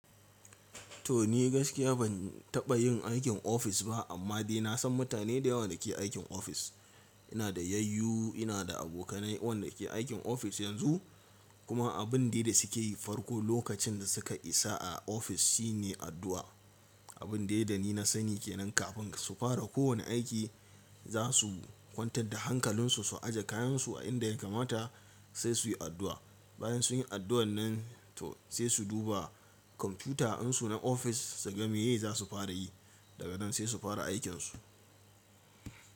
To ni gaskiya ban taɓa yin aikin ofis ba amma dai na san mutane da yawa da ke aikin ofis. Ina da yayyu, ina da abokanai waɗanda ke aikin ofis yanzu kuma abin dai da suke yi farko lokacin da suka isa a ofis shine addu'a. Abin dai da ni na sani ke nan kafin su fara kowane aiki za su kwantar da hankalinsu su aje kayansu a inda ya kamata sai su yi addu'a. Bayan sun yi addu'ar nan to sai su duba kwamfuta insu na ofis su ga me ye za su fara yi. Daga nan sai su fara aikinsu.